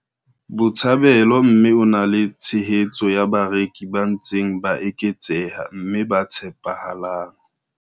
Botshabelo mme o na le tshehetso ya bareki ba ntseng ba eketseha mme ba tshepahalang.